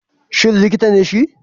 Shin likita ne shi?